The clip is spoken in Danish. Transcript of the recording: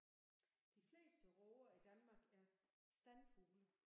De fleste råger i Danmark er standfugle